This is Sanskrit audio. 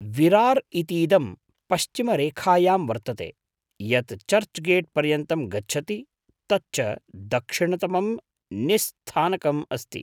विरार् इतीदं पश्चिमरेखायां वर्तते, यत् चर्च् गेट् पर्यन्तं गच्छति। तच्च दक्षिणतमं निस्स्थानकं अस्ति।